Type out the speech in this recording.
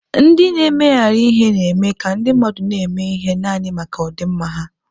Ndị na-emegharị ihe na-eme ka ndị mmadụ na-eme ihe naanị maka ọdịmma ha.